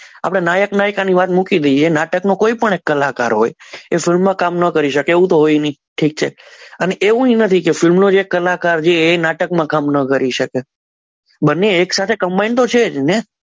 આપણે નાયકના ને મૂકી દઈએ નાટકનો કોઈપણ એક કલાકાર હોય એ ફિલ્મમાં કામ ન કરી શકે એવું તો હોય નહીં ઠીક છે અને એવું નથી કે ફિલ્મનો જે કલાકાર છે એ નાટકમાં કામ ન કરી શકે બંને એક સાથે કંબાઇન તો છે જ ને